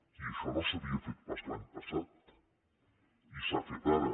i això no s’havia fet pas l’any passat i s’ha fet ara